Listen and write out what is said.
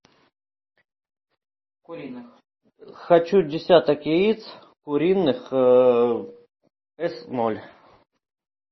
хочу десяток яиц куриных эс ноль